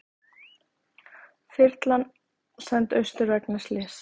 Þyrlan send austur vegna slyss